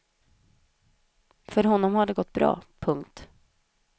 För honom har det gått bra. punkt